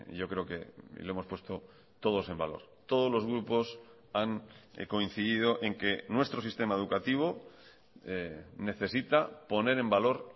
yo creo que lo hemos puesto todos en valor todos los grupos han coincidido en que nuestro sistema educativo necesita poner en valor